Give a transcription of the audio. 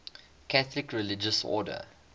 catholic religious order